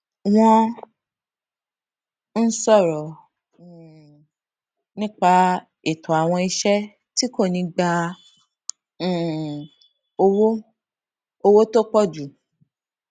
wón ń sọrọ um nípa ètò àwọn iṣé tí kò ní gba um owó owó tó pò jù